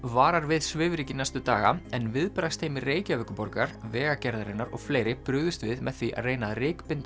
varar við svifryki næstu daga en viðbragðsteymi Reykjavíkurborgar Vegagerðarinnar og fleiri brugðust við með því að reyna að